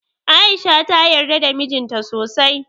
A'isha ta yarda da mijin ta sosai.